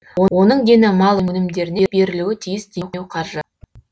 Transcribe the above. оның дені мал өнімдеріне берілуі тиіс демеуқаржы